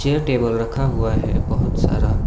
यह टेबल रखा हुआ है बहोत सारा।